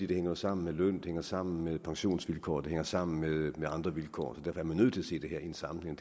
det hænger sammen med løn det hænger sammen med pensionsvilkår det hænger sammen med andre vilkår derfor er man nødt til at se det her i en sammenhæng